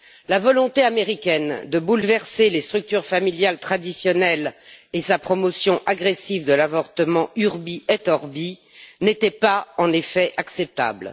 La volonté américaine de bouleverser les structures familiales traditionnelles et sa promotion agressive de l'avortement urbi et orbi n'étaient pas en effet acceptables.